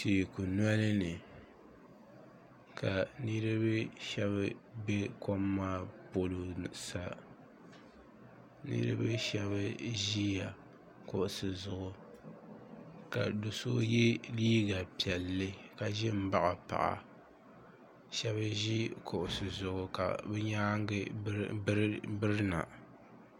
teeku noli ni ka niriba shɛba be kom maa polo sa niriba shɛba ʒiya kuɣusi zuɣu ka do' so ye liiga piɛlli ka ʒi m-baɣi paɣa shɛba ʒi kuɣusi zuɣu ka bɛ nyaaŋa birina